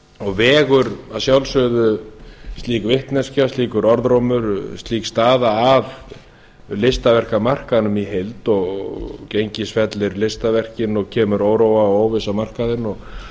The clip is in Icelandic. og vegur að sjálfsögðu slík vitneskja slíkur orðrómur slík staða að listaverkamarkaðinn í heild og gengisfellir listaverkin og kemur óróa og óvissu á markaðinn og